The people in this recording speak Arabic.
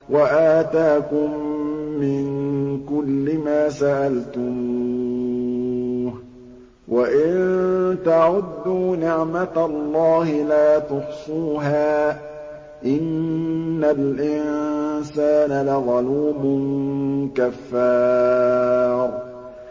وَآتَاكُم مِّن كُلِّ مَا سَأَلْتُمُوهُ ۚ وَإِن تَعُدُّوا نِعْمَتَ اللَّهِ لَا تُحْصُوهَا ۗ إِنَّ الْإِنسَانَ لَظَلُومٌ كَفَّارٌ